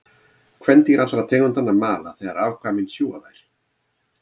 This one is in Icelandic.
Kvendýr allra tegundanna mala þegar afkvæmin sjúga þær.